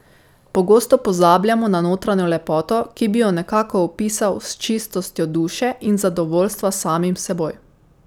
Pogosto pozabljamo na notranjo lepoto, ki bi jo nekako opisal s čistostjo duše in zadovoljstva s samim seboj.